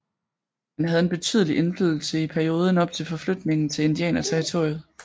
Han havde en betydelig indflydelse i perioden op til forflytningen til Indianerterritoriet